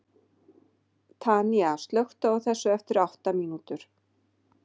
Tanía, slökktu á þessu eftir átta mínútur.